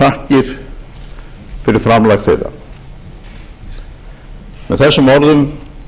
þakkir fyrir framlag þeirra með þessum orðum bið